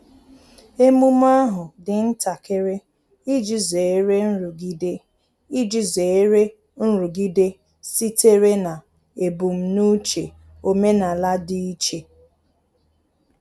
Emume ahu dị ntakịrị iji zere nrụgide iji zere nrụgide sitere na ebum n'uche omenala dị iche